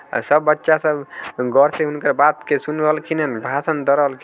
सब बच्चा सब गौर से हुनकर बात के सुन रहलखिन हैन भाषण द रहलखिन।